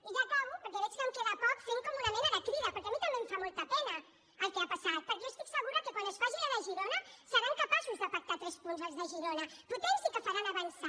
i ja acabo perquè veig que em queda poc fent com una mena de crida perquè a mi també em fa molta pena el que ha passat perquè jo estic segura que quan es faci la de girona seran capaços de pactar tres punts dels de girona potents i que faran avançar